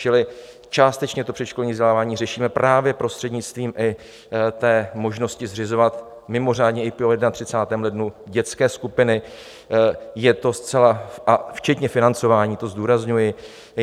Čili částečně to předškolní vzdělávání řešíme právě prostřednictvím i té možnosti zřizovat mimořádně i po 31. lednu dětské skupiny, je to zcela... a včetně financování, to zdůrazňuji.